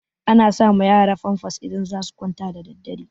Ana sa ma yara famfas idan za su kwanta da daddare